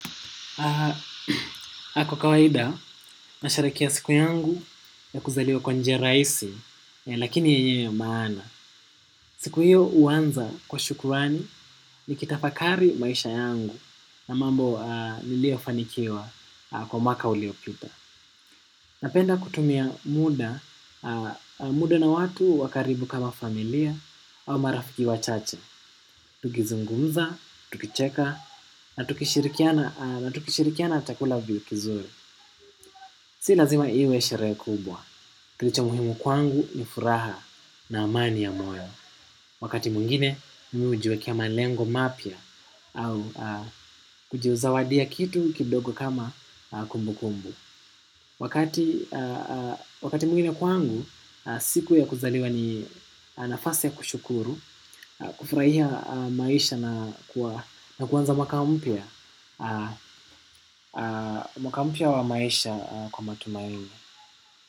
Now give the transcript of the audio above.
Ako kawaida, nasherekea siku yangu ya kuzaliwa kwa njia rahisi, lakini yenye maana. Siku hiyo huwanza kwa shukurani ni kitafakari maisha yangu na mambo nilio fanikiwa kwa mwaka uliopita. Napenda kutumia muda na watu wa karibu kama familia au marafiki wachache. Tukizungumza, tukicheka, na tukishirikiana chakula kizuri. Si lazima iwe sherehe kubwa. Kilicho muhimu kwangu ni furaha na amani ya moyo. Wakati mwingine, mimi hujiwekea malengo mapya au kujizawadia kitu kidogo kama kumbu kumbu. Wakati mwingine kwangu, siku ya kuzaliwa ni nafasi ya kushukuru, kufurahia maisha na kwanza mwaka mpya mwaka mpya wa maisha kwa matumaini.